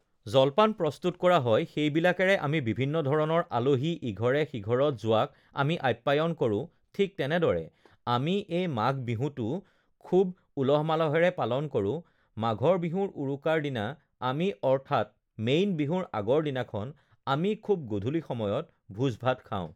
জলপান প্ৰস্তুত কৰা হয় সেইবিলাকেৰে আমি বিভিন্ন ধৰণৰ আলহী ইঘৰে সিঘৰত যোৱাক আমি আপ্যায়ন কৰোঁ ঠিক তেনেদৰে আমি এই মাঘ বিহুটো খুব উলহ-মালহেৰে পালন কৰোঁ মাঘৰ বিহুৰ উৰুকাৰ দিনা আমি অৰ্থাৎ মেইন বিহুৰ আগৰ দিনাখন আমি খুব গধূলি সময়ত ভোজ-ভাত খাওঁ